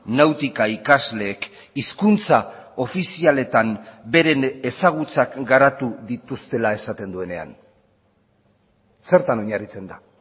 nautika ikasleek hizkuntza ofizialetan beren ezagutzak garatu dituztela esaten duenean zertan oinarritzen da